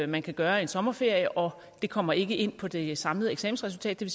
man kan gøre i en sommerferie og det kommer ikke ind på det samlede eksamensresultat det